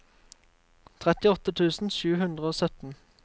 trettiåtte tusen sju hundre og sytten